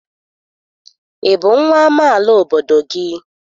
Ị bụ nwa amaala obodo gị?